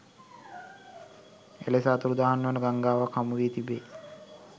එලෙස අතුරුදන් වන ගංඟාවක් හමු වී තිබේ